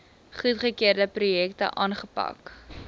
goedgekeurde projekte aanpak